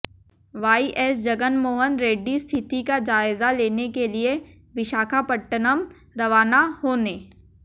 Y S Jaganmohan Reddy स्थिति का जायजा लेने के लिए विशाखापत्तनम रवाना होने